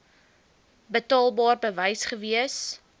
betaalbaar bewys gewees